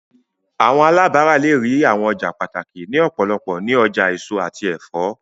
Awọn alabara le rii awọn ọja pataki ni ọpọlọpọ ni ọja eso ati ẹfọ